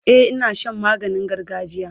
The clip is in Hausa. e Ina Shan maganin gargajiya